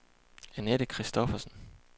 Anette Christophersen